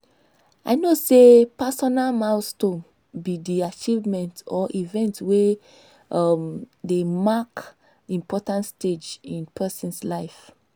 i know say personal milestone be di achievement or event wey um dey mark important stage in person's life.